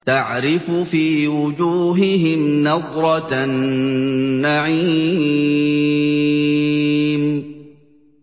تَعْرِفُ فِي وُجُوهِهِمْ نَضْرَةَ النَّعِيمِ